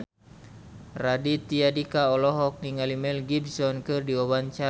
Raditya Dika olohok ningali Mel Gibson keur diwawancara